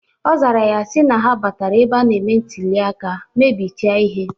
Ọ zara sị na ha batara ebe a na-eme ntuli aka, mebiche ihe.